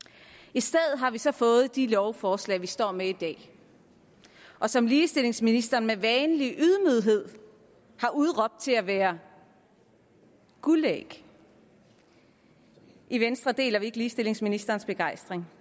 i stedet har vi så fået de lovforslag vi står med i dag og som ligestillingsministeren med vanlig ydmyghed har udråbt til at være guldæg i venstre deler vi ikke ligestillingsministerens begejstring